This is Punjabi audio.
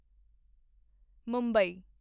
ਮੁੰਬਈ